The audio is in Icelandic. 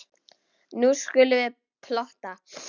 Nú skulum við plotta.